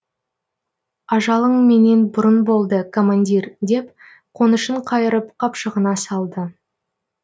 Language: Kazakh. ажалың менен бұрын болды командир деп қонышын қайырып қапшығына салды